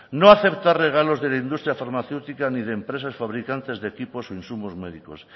no aceptar regalos de la industria farmacéutica ni de empresas fabricantes de equipos médicos